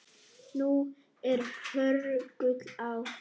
Nú er hörgull á